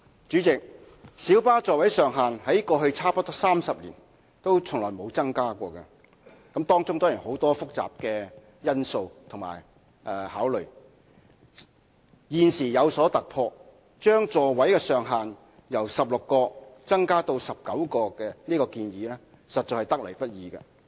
主席，小巴座位上限在過去差不多30年從未有增加，當中固然涉及很多複雜的因素和考慮；現時有所突破，將座位上限由16個增加至19個的建議實在得來不易。